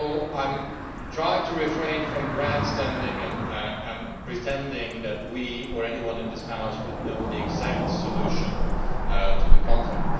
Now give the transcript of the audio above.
I will try to refrain from grandstanding and pretending that we, or anyone in this House, could know the exact solution to the conflict.